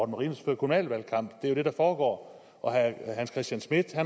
marinus fører kommunal valgkamp det er det der foregår og herre hans christian schmidt